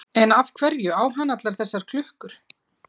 En af hverju á hann allar þessar klukkur?